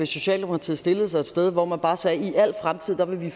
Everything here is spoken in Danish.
socialdemokratiet stillede sig et sted hvor man bare sagde i al fremtid vil vi